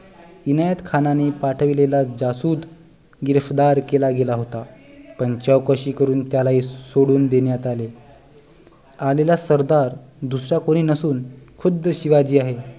इनायत खानाने पाठविलेला जासुद गिरफ्तार केला गेला होता पण चौकशी करून त्यालाही सोडून देण्यात आले आलेला सरदार दूसरा कोणी नसून खुद्द शिवाजी आहे